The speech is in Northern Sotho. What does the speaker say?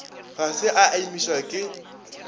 ga se a imišwa ke